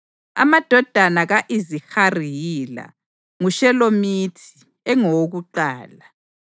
Amadodana ka-Izihari yila: nguShelomithi engowokuqala.